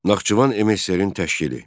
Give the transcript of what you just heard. Naxçıvan MSSR-in təşkili.